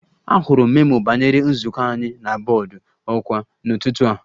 Ahụrụ m memo banyere nzukọ anyị na bọọdụ ọkwa n'ụtụtụ a